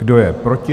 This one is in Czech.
Kdo je proti?